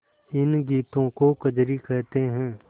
इन गीतों को कजरी कहते हैं